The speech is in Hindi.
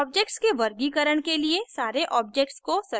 objects के वर्गीकरण के लिए सारे objects को select करें